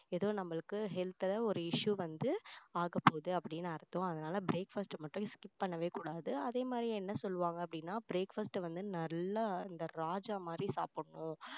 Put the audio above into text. ஏதோ நம்மளுக்கு health ல ஒரு issue வந்து ஆகப்போகுது அப்படின்னு அர்த்தம் அதனால breakfast அ மட்டும் skip பண்ணவே கூடாது அதே மாதிரி என்ன சொல்லுவாங்க அப்படின்னா breakfast அ வந்து நல்லா இந்த ராஜா மாதிரி சாப்பிடணும்